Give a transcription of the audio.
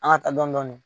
An ka taa dɔni dɔni